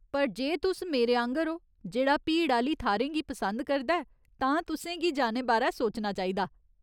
पर, जे तुस मेरे आंह्गर ओ जेह्ड़ा भीड़ आह्‌ली थाह्‌रें गी पसंद करदा ऐ, तां तुसें गी जाने बारै सोचना चाहिदा।